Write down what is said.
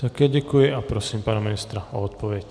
Také děkuji a prosím pana ministra o odpověď.